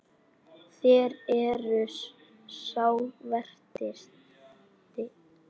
Þér eruð sá versti.